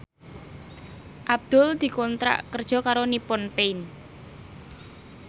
Abdul dikontrak kerja karo Nippon Paint